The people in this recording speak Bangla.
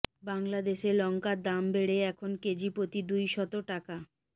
বাংলাদেশে লংকার দাম বেড়ে এখন কেজি প্রতি দুইশত টাকা